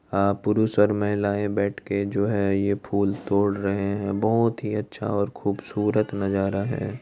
अ पुरुष और महिलाए बेठ के जो है यह फुल तोड रहे है बोहत ही अच्छा और खुबसूरत नज़ारा है।